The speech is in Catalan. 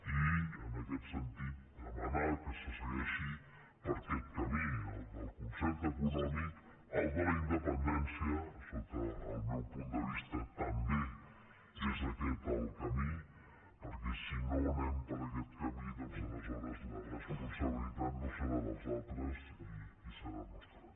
i en aquest sentit demanar que se segueixi per aquest camí el del concert econòmic el de la independència sota el meu punt de vista també és aquest el camí perquè si no anem per aquest camí doncs aleshores la responsabilitat no serà dels altres i serà nostra